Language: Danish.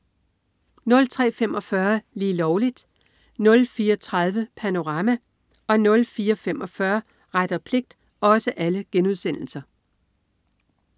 03.45 Lige Lovligt* 04.30 Panorama* 04.45 Ret og pligt*